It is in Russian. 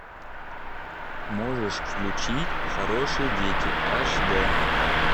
можешь включить хорошие дети аш д